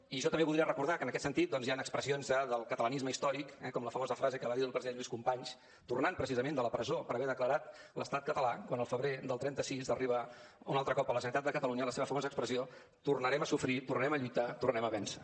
i jo també voldria recordar que en aquest sentit doncs hi han expressions del catalanisme històric com la famosa frase que va dir el president lluís companys tornant precisament de la presó per haver declarat l’estat català quan el febrer del trenta sis arriba un altre cop a la generalitat de catalunya la seva famosa expressió tornarem a sofrir tornarem a lluitar tornarem a vèncer